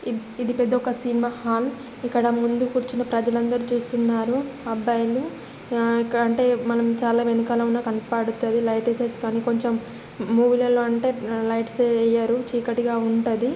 ఇది పెద్ద ఒక సినిమా హాల్ ఇక్కడ ముందు కూర్చుని ప్రజాలందరు చూస్తున్నారు అబ్బాయిలు ఆ అంటే మనం చాలా వెనకాల ఉన్న కనపడతది లైట్ ఏసేసి గాని కొంచెం మూవీ లో అంటే లైట్ ఏవి వెయ్యరు చీకటిగా ఉంటది